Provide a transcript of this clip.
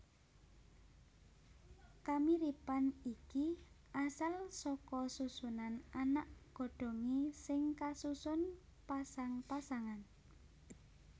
Kamiripan iki asal saka susunan anak godhongé sing kasusun pasang pasangan